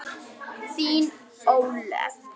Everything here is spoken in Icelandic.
Þín, Ólöf.